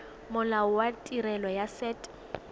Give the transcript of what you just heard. molao wa tirelo ya set